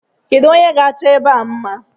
Kedu onye ga-achọ ebe a mma?